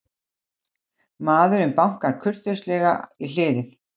Maðurinn bankar kurteislega í hliðið.